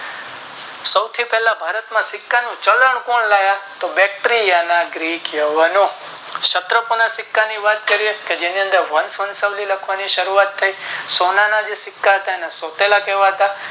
સૌથી પહેલા ભારત માં સિક્કા નું ચલણ કોણ લાવ્યા તો વસ્તોયના ગ્રીક લેવાનો સત્રોકોના સિક્કા ની વાત કરીયે તો તેની અંદર વર્ષ લખવાની શરૂઆત થાય સોનાના જે સિક્કા હતા એ સોતેલા કહેવાતા